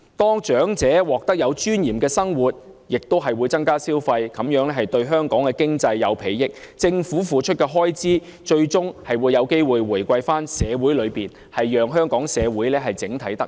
當長者獲得有尊嚴的生活，亦會增加消費，這樣對香港經濟有裨益，而政府為此付出的開支，最終有機會回饋到社會之中，讓香港整體社會都能夠得益。